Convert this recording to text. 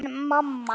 Þín mamma.